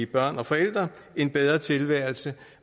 børn og forældre en bedre tilværelse